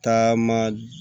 Taama